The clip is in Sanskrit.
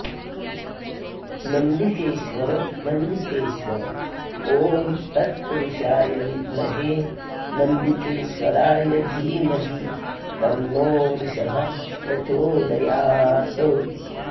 नन्दिकेश्वर नन्दिकेश्वर ॐ तत्पुरुषाय विद्महे नन्दिकेश्वराय धीमहि तन्नो वृषभः प्रचोदयात्